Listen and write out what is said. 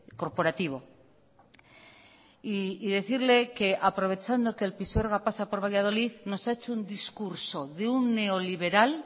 corporativo y decirle que aprovechando que el pisuerga pasa por valladolid nos ha hecho un discurso de un neoliberal